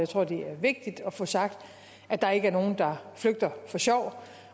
tror det er vigtigt at få sagt at der ikke er nogen der flygter for sjov